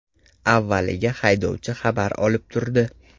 Avvaliga haydovchi xabar olib turdi.